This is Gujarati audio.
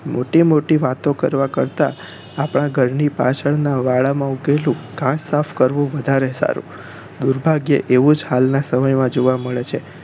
મોટી મોટી વાતો કરવા કરતાં આપણા ઘર ની પાછળ નાં વાળા માં ઉગેલું ઘાસ સાફ કરવું વધારે સારું દુર્ભાગ્યે એવુજ હાલ નાં સમય માં જોવા મળે છે